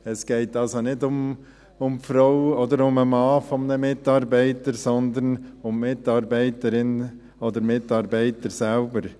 Es geht also nicht um die Frau oder um den Mann eines Mitarbeiters, sondern um die Mitarbeiterinnen oder Mitarbeiter selbst.